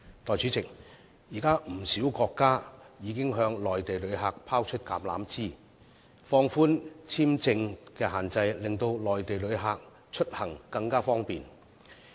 代理主席，現時不少國家已經向內地旅客伸出橄欖枝，放寬簽證限制，令內地旅客出行更為方便。